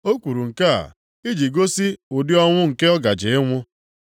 O kwuru nke a iji gosi ụdị ọnwụ nke ọ gaje ịnwụ.